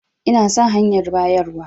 Ina son hanyar bayarwan.